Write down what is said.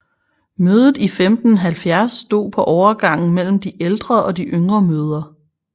Mødet i 1570 stod på overgangen mellem de ældre og de yngre møder